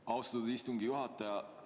Aitäh, austatud istungi juhataja!